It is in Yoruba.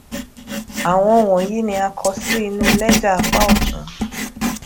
áwọn wònyìí ni a kọ sí inu léjà apá òtún